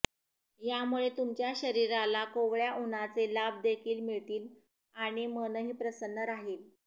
यामुळे तुमच्या शरीराला कोवळ्या उन्हाचे लाभ देखील मिळतील आणि मनही प्रसन्न राहील